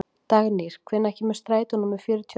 Dagnýr, hvenær kemur strætó númer fjörutíu og eitt?